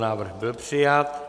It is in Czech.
Návrh byl přijat.